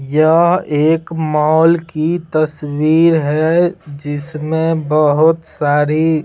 यह एक मॉल की तस्वीर है जिसमें बहुत सारी--